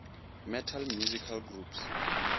metal musical groups